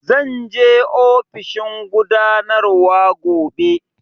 Zan je ofishin gudanarwa gobe